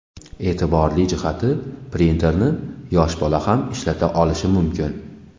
E’tiborli jihati, printerni yosh bola ham ishlata olishi mumkin.